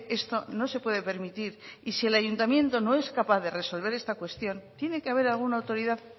esto no se puede permitir y si el ayuntamiento no es capaz de resolver esta cuestión tiene que haber alguna autoridad